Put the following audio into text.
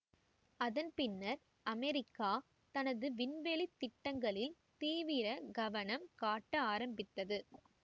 அதன்பின்னர் அமெரிக்கா தனது விண்வெளி திட்டங்களில் தீவிர கவனம் காட்ட ஆரம்பித்தது